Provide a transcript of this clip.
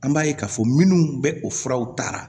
An b'a ye k'a fɔ minnu bɛ o furaw ta